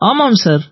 ஆமாம் சார்